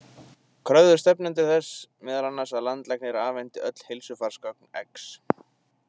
Kröfðust stefnendur þess meðal annars að landlæknir afhenti öll heilsufarsgögn X